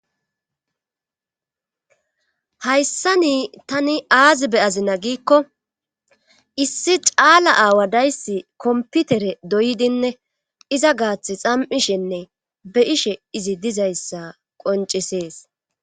hayssani tani aazi be'azina giikko issi caala aawa dayssi komputere doydinne iza gaath xam7ishenne be ishe izi dizayssa qoncisees